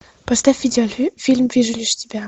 поставь видеофильм вижу лишь тебя